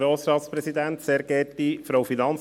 Kommissionspräsident der FiKo.